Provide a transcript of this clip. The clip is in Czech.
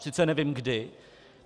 Sice nevím kdy.